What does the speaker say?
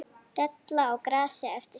Della á grasi eftir skúr.